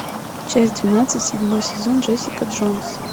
часть двенадцать седьмой сезон джессика джонс